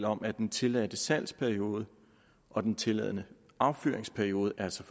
om at den tilladte salgsperiode og den tilladte affyringsperiode altså